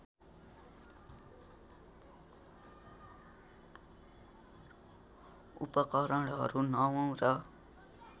उपकरणहरू नवौँ र